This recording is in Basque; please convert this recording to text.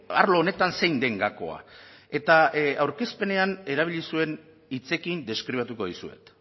arlo honetan zein den gakoa eta aurkezpenean erabili zuen hitzekin deskribatuko dizuet